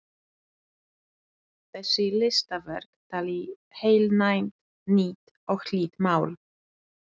Þessi listaverk tali heilnæmt, nýtt og hlýtt mál.